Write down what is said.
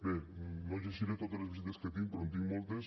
bé no llegiré totes les visites que tinc però en tinc moltes